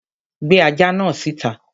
Gbé ajá náà síta.